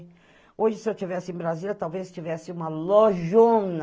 Hoje, se eu estivesse em Brasília, talvez tivesse uma lojona.